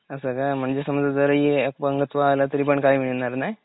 असं काय? म्हणजे समजा जर अपंगत्व आलं तरी काय मिळणार नाय?